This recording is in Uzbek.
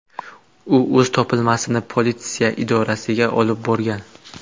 U o‘z topilmasini politsiya idorasiga olib borgan.